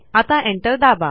आता एंटर दाबा